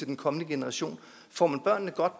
den kommende generation får man børnene godt